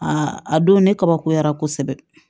a don ne kabakoyara kosɛbɛ